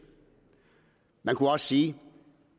man kan også sige at